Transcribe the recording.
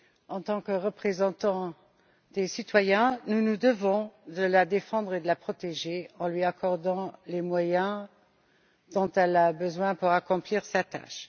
En tant que représentants des citoyens, nous nous devons de la défendre et de la protéger en lui accordant les moyens dont elle a besoin pour accomplir sa tâche.